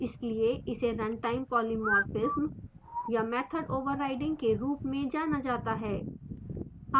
इसलिए इसे runtime polymorphism या method overriding के रूप में जाना जाता है